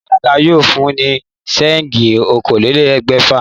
Ìyá aláta yóò fún ní séènjì okòólélégbèfà